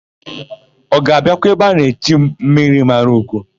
Ọ ga-abịakwa ebe a na-echi m, Mmirimaraugo?